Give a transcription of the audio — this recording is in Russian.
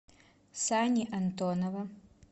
сани антонова